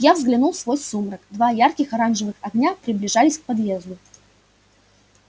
я глянул сквозь сумрак два ярких оранжевых огня приближались к подъезду